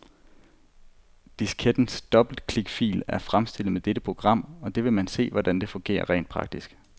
Diskettens dobbeltklikfil er fremstillet med dette program, og der vil man se, hvordan det fungerer rent praktisk.